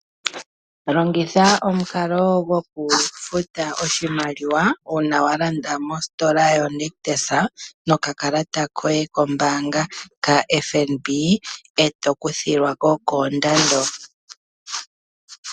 Longitha omukalo gokufuta oshimaliwa uuna walanda mositola yonictus nokakalata kombanga kaFnb eto iyadha wakuthilwako koondando dhayooloka.